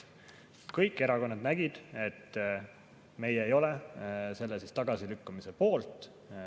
Kõik erakonnad nägid, et meie ei ole selle tagasilükkamise poolt.